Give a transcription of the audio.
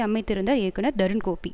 அமைத்திருந்தார் இயக்குனர் தருண்கோபி